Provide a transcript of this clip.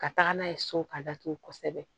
Ka taga n'a ye so ka datugu kosɛbɛ